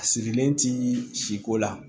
A sirilen ti siko la